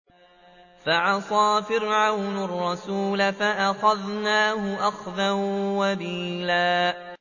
فَعَصَىٰ فِرْعَوْنُ الرَّسُولَ فَأَخَذْنَاهُ أَخْذًا وَبِيلًا